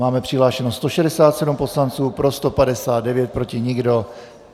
Máme přihlášeno 167 poslanců, pro 159, proti nikdo.